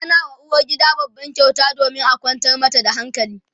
ana wa uwargida babban kyauta domin a kwantar mata da hankali